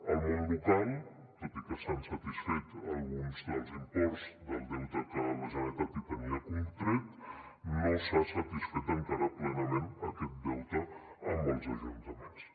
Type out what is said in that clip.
al món local tot i que s’han satisfet alguns dels imports del deute que la generalitat hi tenia contret no s’ha satisfet encara plenament aquest deute amb els ajuntaments